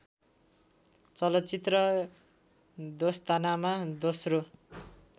चलचित्र दोस्तानामा दोस्रो